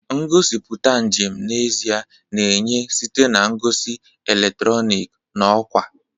Ngosipụta njem n'ezie na-enye site na ngosi eletrọnịkị na ọkwa.